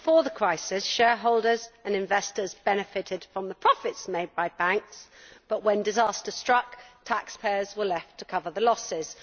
Before the crisis, shareholders and investors benefited from the profits made by banks, but when disaster struck taxpayers were left to cover the losses.